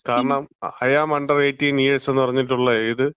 കാരണം, I'm under 18 years എന്ന് പറഞ്ഞിട്ടുള്ളത്,